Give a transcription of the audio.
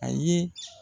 A ye